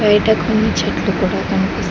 బయట కొన్ని చెట్లు కూడా కనిపి--